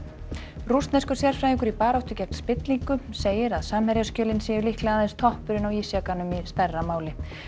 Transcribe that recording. rússneskur sérfræðingur í baráttu gegn spillingu segir að séu líklega aðeins toppurinn á ísjakanum í stærra máli